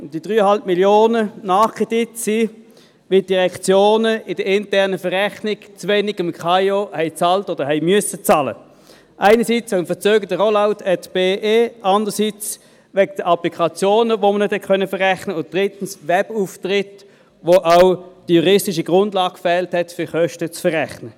Zu diesem Nachkredit von 3,5 Mio. Franken kam es, weil die Direktionen bei der internen Verrechnung dem Amt für Informatik und Organisation des Kantons Bern (KAIO) zu wenig bezahlten oder zu wenig bezahlen mussten, einerseits wegen des verzögerten Projekts Rollout@BE, andererseits wegen der Applikationen, die nicht verrechnet werden konnten, und drittens wegen des Webauftritts, für den die juristische Grundlage fehlte, um Kosten zu verrechnen.